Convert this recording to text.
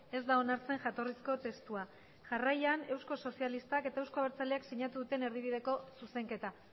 ez da onartzen jatorrizko testua jarraian euskal sozialistak eta euzko abertzaleak sinatu duten erdibideko zuzenketa